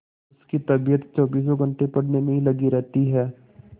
उसकी तबीयत चौबीसों घंटे पढ़ने में ही लगी रहती है